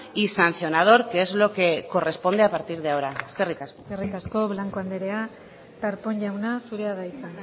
y sancionador que es lo que corresponde a partir de ahora eskerrik asko eskerrik asko blanco andrea darpón jauna zurea da hitza